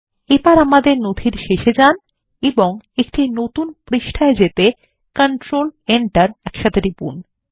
এবার আমাদের নথির শেষে যান এবং একটি নতুন পৃষ্ঠায় যেতে কন্ট্রোল এন্টার একসাথে টিপুন